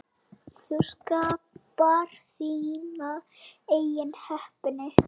Þú skapar þína eigin heppni.